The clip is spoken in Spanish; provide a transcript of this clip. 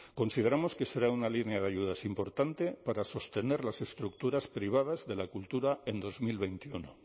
consideramos que será una línea de ayudas importante para sostener las estructuras privadas de la cultura en dos mil veintiuno